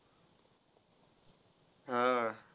हा.